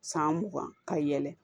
San mugan ka yɛlɛn